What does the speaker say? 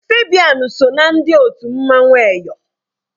Fabian so ná ndị otu mmanwụ Eyọ